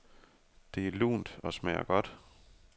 Det er lunt og smager godt.